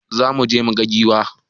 Za muje mu gan giwa.